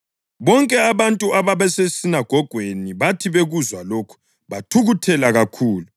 Bonke abantu ababesesinagogweni bathi bekuzwa lokhu bathukuthela kakhulu.